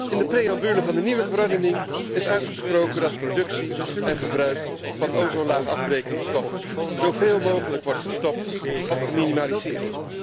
In de preambule van de nieuwe verordening is uitgesproken dat productie en gebruik van ozonlaagafbrekende stoffen zoveel mogelijk wordt gestopt of geminimaliseerd.